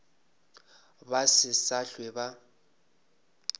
ba se sa hlwe ba